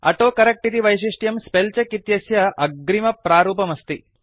autocorrect इति वैशिष्ट्यं spell check इत्यस्य अग्रिमप्रारूपमस्ति